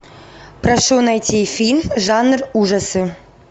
прошу найти фильм жанр ужасы